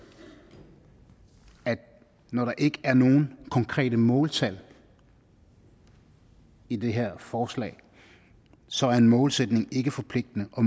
at når der ikke er nogen konkrete måltal i det her forslag så er en målsætning ikke forpligtende og